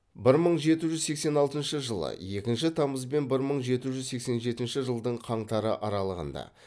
бір мың жеті жүз сексен алтыншы жылы екінші тамыз бен бір мың жеті жүз сексен жетінші жылдың қаңтары аралығында